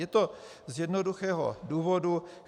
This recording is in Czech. Je to z jednoduchého důvodu.